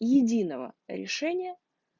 единого решения